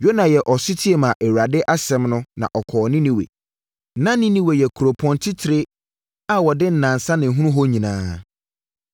Yona yɛɛ ɔsetie maa Awurade asɛm no, na ɔkɔɔ Ninewe. Na Ninewe yɛ kuropɔn titire a wɔde nnansa na ɛhunu hɔ nyinaa.